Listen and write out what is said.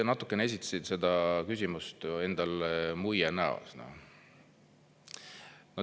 Te natukene esitasite seda küsimust, endal muie näos.